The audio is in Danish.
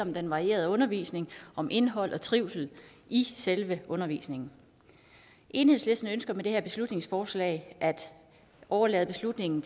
om den varierede undervisning om indhold og trivsel i selve undervisningen enhedslisten ønsker med det her beslutningsforslag at overlade beslutningen